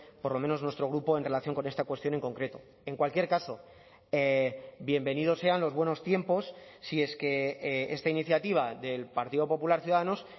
por lo menos nuestro grupo en relación con esta cuestión en concreto en cualquier caso bienvenidos sean los buenos tiempos si es que esta iniciativa del partido popular ciudadanos